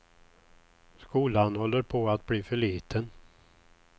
Skolan håller på att bli för liten.